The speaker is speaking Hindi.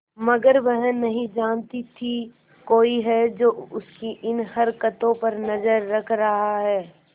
मगर वह नहीं जानती थी कोई है जो उसकी इन हरकतों पर नजर रख रहा है